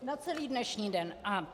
Na celý dnešní den, aha.